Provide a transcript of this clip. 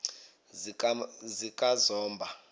zikazomba